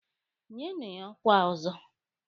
Nyenụ ya ọkwa Ọzọ!